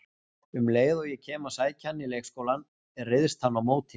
Um leið og ég kem að sækja hann í leikskólann, ryðst hann á móti mér